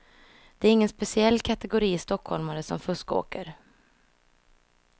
Det är ingen speciell kategori stockholmare som fuskåker.